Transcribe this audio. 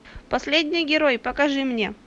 последний герой покажи мне